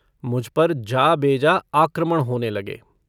मुझ पर जाबेजा आक्रमण होने लगे।